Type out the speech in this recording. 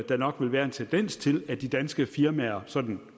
der nok vil være en tendens til at de danske firmaer sådan